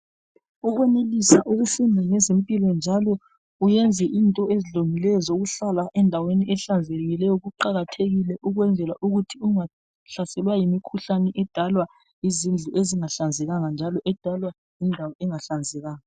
Ukwenelisa ukufunda ngezempilo njalo uyenze into ezilungileyo zokuhlala endaweni ehlanzekileyo kuqakathekile ukwenzela ukuthi ungahlaselwa yimikhuhlane edalwa yizindlu ezingahlanzekanga njalo edalwa yindawo engahlanzekanga.